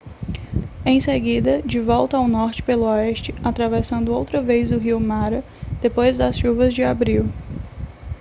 em seguida de volta ao norte pelo oeste atravessando outra vez o rio mara depois das chuvas de abril